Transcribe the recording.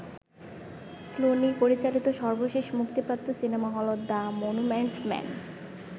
Clooney পরিচালিত সর্বশেষ মুক্তিপ্রাপ্ত সিনেমা হল ‘দ্য মনুমেন্টস মেন’।